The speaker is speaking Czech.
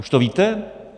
Už to víte?